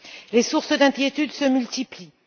Les sources d'inquiétude se multiplient.